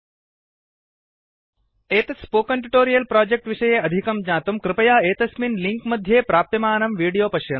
103 000923 000922 एतत् spoken tutorial project विषये अधिकं ज्ञातुं कृपया एतस्मिन् लिङ्क् मध्ये प्राप्यमानं विडोयो पश्यन्तु